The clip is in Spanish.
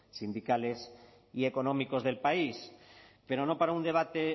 sindicales y económicos del país pero no para un debate